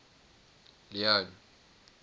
leone